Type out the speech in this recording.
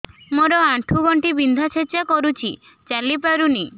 ମୋର ଆଣ୍ଠୁ ଗଣ୍ଠି ବିନ୍ଧା ଛେଚା କରୁଛି ଚାଲି ପାରୁନି